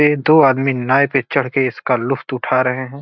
ये दो आदमी नाव पर चढ़कर इसका लुफ्त उठा रहे है।